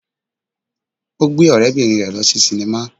Ó gbé ọ̀rẹ́-bìnrin rẹ̀ lọ sí sínímà